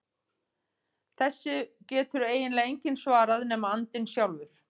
Þessu getur eiginlega enginn svarað nema andinn sjálfur.